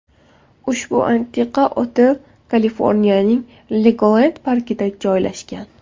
Ushbu antiqa otel Kaliforniyaning Legolend parkida joylashgan.